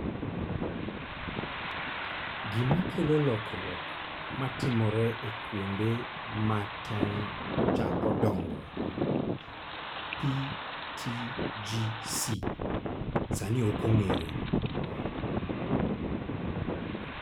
Gima kelo lokruok matimore e kuonde ma tong ' chako dongoe (PTGC) sani ok ong'ere.